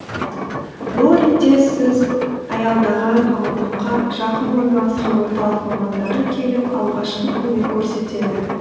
бұл ретте сіз аялдаған аумаққа жақын орналасқан орталық мамандары келіп алғашқы көмек көрсетеді